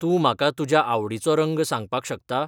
तूं म्हाका तुज्या आवडीचो रंग सांगपाक शकता?